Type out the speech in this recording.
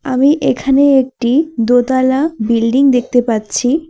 আমি এখানে একটি দোতলা বিল্ডিং দেখতে পাচ্ছি।